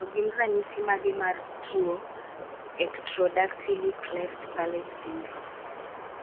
To gin ranyisi mage mar tuo Ectrodactyly cleft palate syndrome?